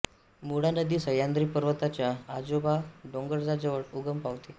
मुळा नदी सह्याद्री पर्वताच्या आजोबा डोंगराजवळ उगम पावते